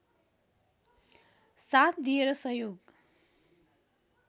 साथ दिएर सहयोग